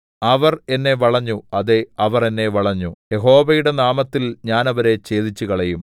അവർ എന്നെ വളഞ്ഞു അതേ അവർ എന്നെ വളഞ്ഞു യഹോവയുടെ നാമത്തിൽ ഞാൻ അവരെ ഛേദിച്ചുകളയും